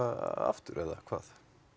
aftur eða hvað